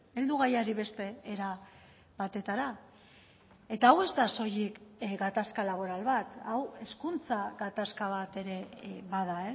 heldu gaiari beste era batetara eta hau ez da soilik gatazka laboral bat hau hezkuntza gatazka bat ere bada